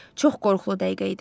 Çox qorxulu dəqiqə idi.